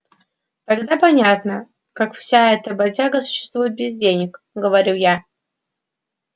тогда понятно как вся эта бодяга существует без денег говорю я